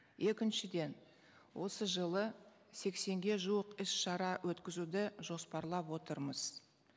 екіншіден осы жылы сексенге жуық іс шара өткізуді жоспарлап отырмыз